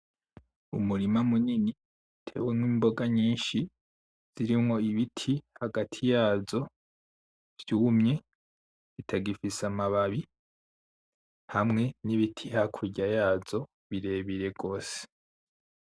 Umurima munini uteyemwo imboga nyinshi zirimwo ibiti hagati. yazo vyumye bitagifise amababi hamwe n' ibiti hakurya yazo birebire gose.